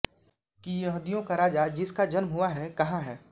कि यहूदियों का राजा जिस का जन्म हुआ है कहां है